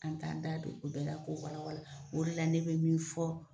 An t'an da don o bɛɛ la k'o wala wala o de la ne be min fɔ